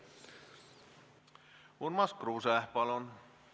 Urmas Kruuse, palun!